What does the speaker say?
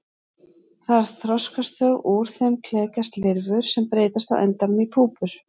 Þar þroskast þau og úr þeim klekjast lirfur sem breytast á endanum í púpur.